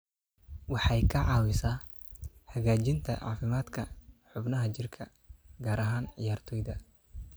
Waxay ka caawisaa hagaajinta caafimaadka xubnaha jirka, gaar ahaan ciyaartoyda.